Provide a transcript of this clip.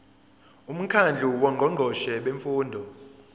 umkhandlu wongqongqoshe bemfundo